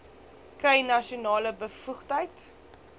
kry nasionale bevoegdheid